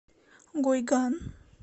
гуйган